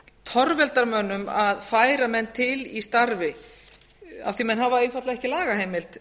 torveldar mönnum að færa menn til í starfi af því að menn hafa einfaldlega ekki lagaheimild